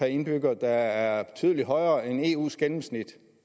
indbygger der er betydelig højere end eus gennemsnit